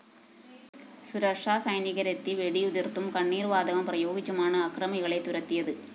സുരക്ഷാ സൈനികരെത്തി വെടിയുതിര്‍ത്തും കണ്ണീര്‍ വാതകം പ്രയോഗിച്ചുമാണ്‌ അക്രമികളെ തുരത്തിയത്‌